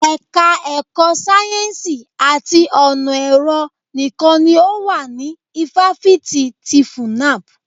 Ẹka ẹ̀kọ́ sáyẹ́nsì àti ọ̀nà ẹ̀rọ nìkan ni ó wà ní ifáfitì ti FUNAB.